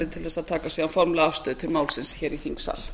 til að taka formlega afstöðu til málsins í þingsal